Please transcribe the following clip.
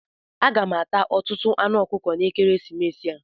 Aga m ata ọtụtụ anụ ọkụkọ n'ekeresimesi a.